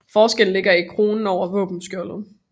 Forskellen ligger i kronen over våbenskjoldet